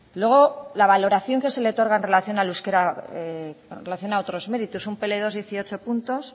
luego la valoración que se le otorga en relación al euskera en relación a otros méritos un pe ele dos dieciocho puntos